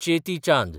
Cheti Chand